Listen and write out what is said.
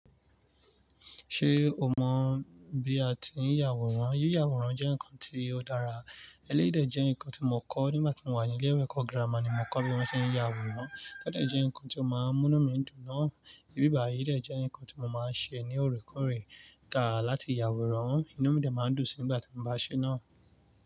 Ṣé o mọ̀ bí a ti ń yàwòrán? Yíyàwòrán jẹ́ nǹkan tí ó dára. Ẹléyìí de jẹ́ nǹkan tí mo kọ́ nígbà tí mo wà ní ilé ìwé ẹ̀kọ́ gírámà ni mo kọ́ bí wọ́n ṣe ń yàwòrán. Ko ọ dẹ jẹ́ nǹkan tí ó máa ń mú enu mi dùn gan. Ìbíba yìí de jẹ́ nǹkan tí mo máa ń ṣe ní òrékòré ka láti yàwòrán. Inú mi dà máa ń dùn sí nígbà tí mo bá ṣe náà.